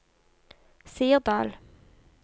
Sirdal